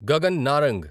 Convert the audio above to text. Gagan Narang